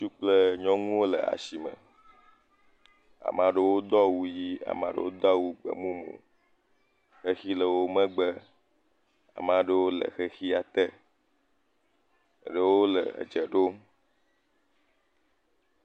Ŋutsu kple nyɔnuwo le asime. Ame aɖewo do awu ʋii ame aɖewo do awu gbemumu. Xexi le wo megbe. Ame aɖewo le xexia te. Eɖewo le edze ɖom.